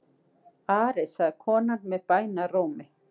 Ari, sagði konan með bænarrómi.